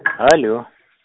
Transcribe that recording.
алё